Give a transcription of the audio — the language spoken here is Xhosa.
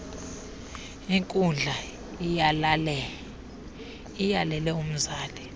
inkundla iyalele umzali